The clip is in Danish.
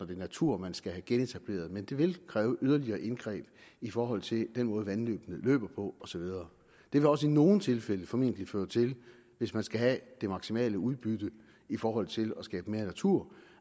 den natur man skal have genetableret men det vil kræve yderligere indgreb i forhold til den måde vandløbene løber på og så videre det vil også i nogle tilfælde formentlig føre til hvis man skal have det maksimale udbytte i forhold til at skabe mere natur